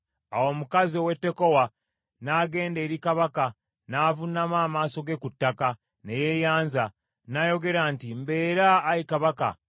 Awo omukazi ow’e Tekowa n’agenda eri kabaka, n’avuunama amaaso ge ku ttaka, ne yeeyanza, n’ayogera nti, “Mbeera, ayi kabaka.”